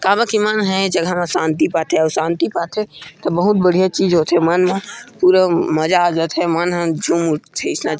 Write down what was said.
--का बर की मन ह ए जगह में शांति पाथे अउ शांति पाथे त बहुत बढ़िया चीज होथे मन ला पूरा मजा आ जा थे मन ह झूम उठ उठथे।